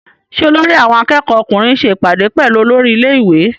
Ṣé olórí àwọn akẹ́kọ̀ọ́ ọkùnrin ṣe ìpàdé pẹ̀lú olórí ilé- ìwé?